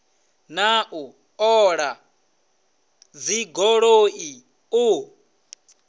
na u ṱola dzigoloi u